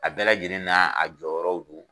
A bɛ lajɛlen na a jɔyɔrɔw don.